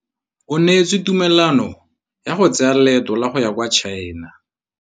O neetswe tumalanô ya go tsaya loetô la go ya kwa China.